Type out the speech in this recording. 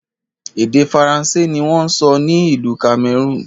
Èdè Faransé ni wọn ń sọ ní ìlú Cameroon